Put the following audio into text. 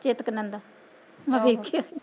ਚਿਤਕਨੰਦਾ, ਮੈ ਦੇਖਿਆ